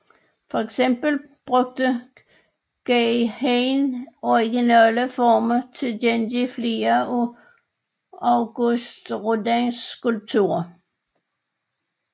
For eksempel brugte Guy Hain originale forme til at gengive flere af Auguste Rodins skulpturer